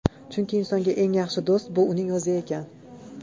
Chunki insonga eng yaxshi do‘st bu uning o‘zi ekan.